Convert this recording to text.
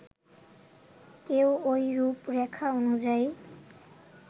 কেউ ওই রূপরেখা অনুযায়ী